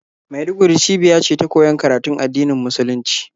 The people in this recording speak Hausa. Maiduguri cibiya ce ta koyon karatun addinin musulunci,